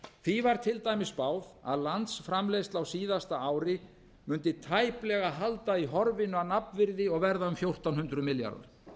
því var til dæmis spáð að landsframleiðsla á síðasta ári mundi tæplega halda í horfinu að nafnvirði og verða um fjórtán hundruð milljarðar